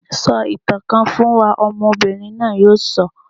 Sọ ìtàn kan fún wa! Ọmọbìnrin náà yóò sọ.